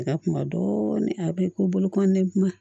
A ka kuma dɔɔnin a bɛ ko bolokoli ne kuma